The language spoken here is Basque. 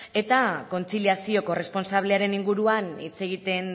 eta kontziliazio korresponsablearen inguruan hitz egiten